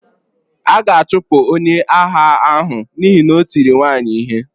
A ga-achụpụ onye agha ahụ n'ihi na o tiri nwaanyị ihe.